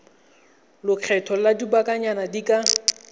lekgetho la lobakanyana di ka